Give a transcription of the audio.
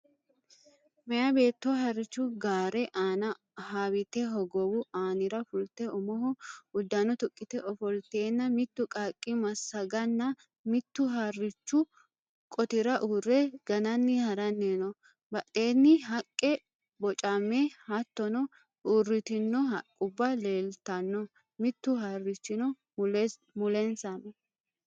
Meyaa beetto harrichu gaare aana haawiite hogowu aanira fulte umoho uddano tuqqite ofolteenna mittu qaaqqu massaganna mittu harrichu qotira uurre gananni haranni no. Badheenni haqqe bocame hattono uurritino haqqubba leeltanno. Mittu harrichino mulensa no.